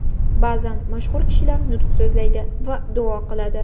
Ba’zan mashhur kishilar nutq so‘zlaydi va duo qiladi.